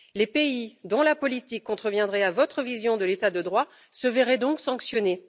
Les pays dont la politique contreviendrait à votre vision de l'état de droit se verraient donc sanctionnés.